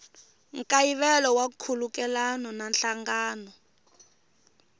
nkayivelo wa nkhulukelano na nhlangano